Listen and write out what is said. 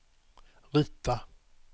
rita